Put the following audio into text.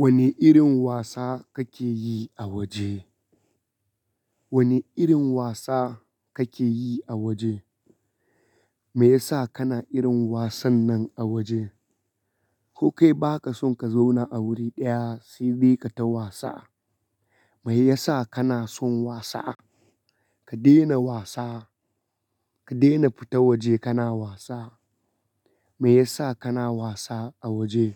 Wane irin wasa kake yi a waje? Wane irin wasa kake yi a waje? Me yasa kana irin wasan nan a waje? Ko kai baka son ka zauna a wuri ɗaya sai bai ka ta wasa. Me yasa kana son wasa? Ka daina wasa. Ka daina fita waje kana wasa. Me yasa kana wasa a waje?